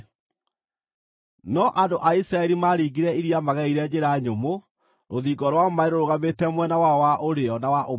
No andũ a Isiraeli maaringire iria magereire njĩra nyũmũ, rũthingo rwa maaĩ rũrũgamĩte mwena wao wa ũrĩo na wa ũmotho.